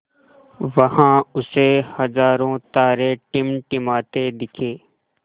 वहाँ उसे हज़ारों तारे टिमटिमाते दिखे